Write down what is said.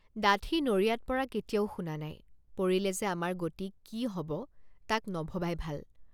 ডাঠি নৰিয়াত পৰা কেতিয়াও শুন৷ নাই পৰিলে যে আমাৰ গতি কি হ’ব তাক নভবাই ভাল।